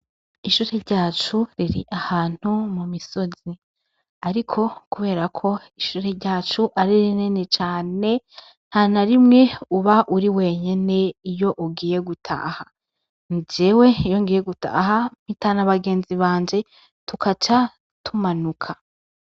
Ishure ryacu riri ahantu mu misozi, ariko, kubera ko ishure ryacu arire nene cane nta na rimwe uba uri wenyene iyo ugiye gutaha, njewe yongiye gutaha mpita n'abagenzi banje tukaca tumanuka.